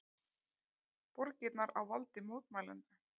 Borgirnar á valdi mótmælenda